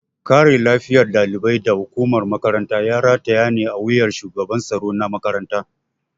Kare lafiyar ɗalibai da hukumar makaranta ya rataya ne a wuyar shugaban tsaro na makaranta.